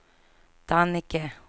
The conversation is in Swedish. Dannike